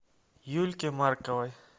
юльке марковой